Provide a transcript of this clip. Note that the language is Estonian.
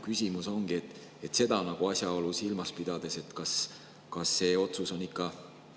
Küsimus seda asjaolu silmas pidades ongi: kas see otsus on ikka mõistlik?